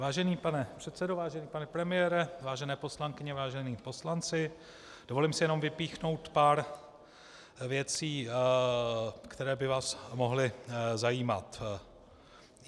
Vážený pane předsedo, vážený pane premiére, vážené poslankyně, vážení poslanci, dovolím si jenom vypíchnout pár věcí, které by vás mohly zajímat.